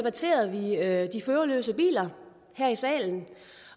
er at de førerløse biler her i salen